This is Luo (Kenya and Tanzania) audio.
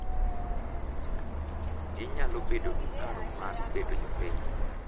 Ginyalo bedo gi paro mar bedo jopiny